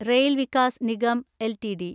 rail Vikas Nigam LTD